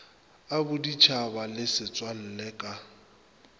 a boditšhaba le setswalle ka